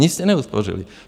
Nic jste neuspořili.